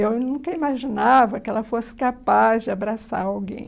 Eu nunca imaginava que ela fosse capaz de abraçar alguém.